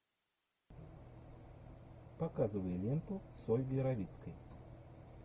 показывай ленту с ольгой равицкой